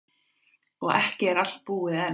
Og ekki allt búið enn.